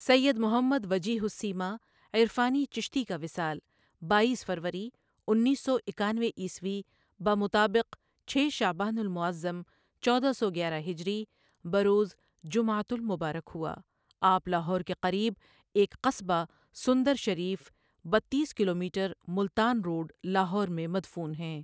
سیّد محمد وجیہ السیما عرفانی چشتی کا وصال باییس فروری اُنیس سو اکانوے عیسوی بمطابق چھ شعبان المعظم چودہ سو گیارہ ہجری بروز جمعۃ المبارک ہوا آپ لاہور کے قریب ایک قصبہ سندر شریف بتیس کلومیٹر ملتان روڈ لاہور میں مدفون ہیں ۔